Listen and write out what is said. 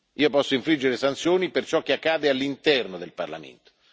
Io posso infliggere sanzioni per ciò che accade all'interno del Parlamento.